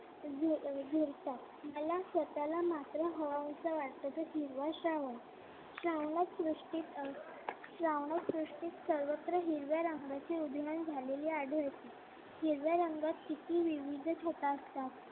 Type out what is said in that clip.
मला स्वतःला मात्र हवाहवासा वाटतो तो हिरवा श्रावण श्रावणात दृष्टीस सर्वत्र हिरव्या रंगाचे उधळण झालेले आढळते. हिरव्या रंगात किती विविध छटा असतात.